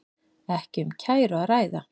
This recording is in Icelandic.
Ekki um kæru að ræða